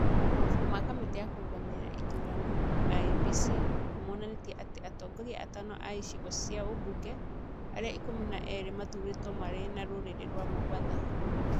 Mabuku ma kamĩtĩ ya kũrũgamĩrĩra ĩthurano (IEBC) nĩ moonanĩtie atĩ atongoria atano a icigo cia ũmbunge a arĩa ĩkũmi na erĩ mathurĩtwo marĩ na rũrĩrĩ rwa Mombatha.